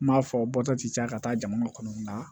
N m'a fɔ bɔta ti caya ka taa jamana kɔnɔ nga